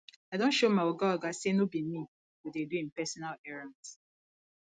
i don show my oga oga sey no be me go dey do im personal errands